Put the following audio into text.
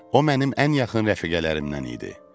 O mənim ən yaxın rəfiqələrimdən idi.